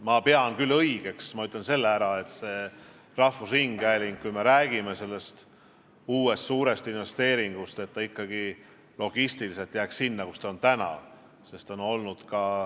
Ma pean küll õigeks – ma ütlen selle ära –, et kui me räägime rahvusringhäälingu uuest suurest investeeringust, siis logistiliselt jääks see keskus sinna, kus ta täna on.